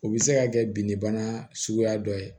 O bɛ se ka kɛ binni bana suguya dɔ ye